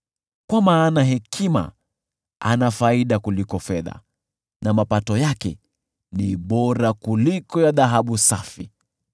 kwa maana hekima ana faida kuliko fedha na mapato yake ni bora kuliko ya dhahabu safi.